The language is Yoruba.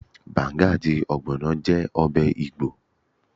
Banga àti ogbono jẹ́ ọbẹ̀ igbo.